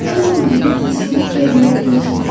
O zaman mənə təskinlik verməyi unutmayın.